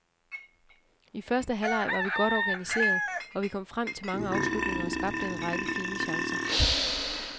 I første halvleg var vi godt organiseret, og vi kom frem til mange afslutninger og skabte en række fine chancer.